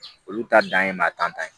Olu ta dan ye maa tan ta ye